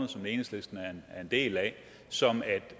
og som enhedslisten er en del af sådan at